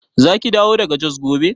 Zaki dawo daga Jos gobe?